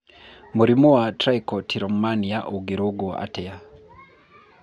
Mũrimũ wa trichotillomania ũngĩrũngwo atĩa?